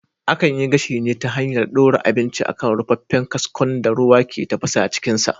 Akan yi gashi ne ta hanyar ɗora abinci a kan rufaffen kaskon da ruwa ke tafasa cikin sa